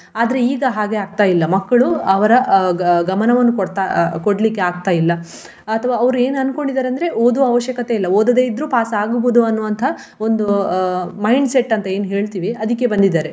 ಆದ್ರೆ ಈಗ ಹಾಗೆ ಆಗ್ತಾ ಇಲ್ಲ ಮಕ್ಕಳು ಅವರ ಅಹ್ ಗ~ ಗ~ ಗಮನವನ್ನು ಕೊಡ್ತಾ ಆ ಕೊಡ್ಲಿಕ್ಕೆ ಆಗ್ತಾ ಇಲ್ಲ. ಅಥವಾ ಅವರು ಏನ್ ಅನ್ಕೊಂಡಿದ್ದಾರೆ ಅಂದ್ರೆ ಓದುವ ಅವಶ್ಯಕತೆ ಇಲ್ಲ ಓದದೆ ಇದ್ರೂ pass ಆಗ್ಬಹುದು ಅನ್ನುವಂತಹ ಒಂದು ಅಹ್ mindset ಅಂತ ಏನ್ ಹೇಳ್ತಿವಿ ಅದಿಕ್ಕೆ ಬಂದಿದ್ದಾರೆ.